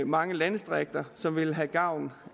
mange landdistrikter som ville have gavn